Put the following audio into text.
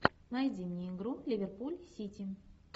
найди мне игру ливерпуль сити